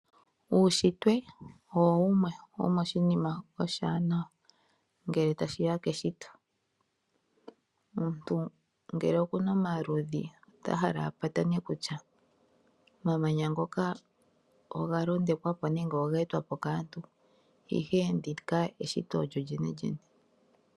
Uushitwe owo wumwe womoshinima shoka oshiwanawa ngele ta shiya keshito omuntu ngele okuna omaludhi ota hala apatane kutya omamanya ngoka oga londekwapo nenge ogeetwapo kaantu ashike ndika eshito lyolyenelyene.